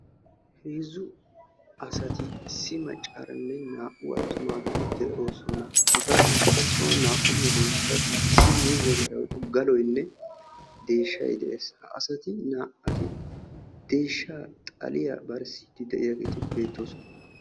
heezzu asati issi maccaaranne naa"u attumageeti de'oosona; hegadankka soon naa"u meedoosati issi miizze marayinne galoyinne deeshshay de'ees; ha asati deeshsha xalliya barsside beettoosona